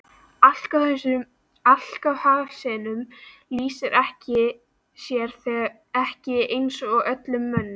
Alkohólismi lýsir sér ekki eins í öllum mönnum.